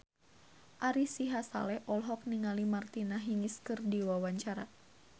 Ari Sihasale olohok ningali Martina Hingis keur diwawancara